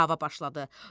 Dava başladı.